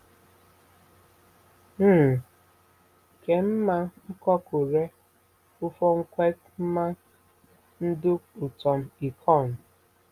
um Ke mma n̄kokụre ufọkn̄wed, mma ndụk utom ekọn̄.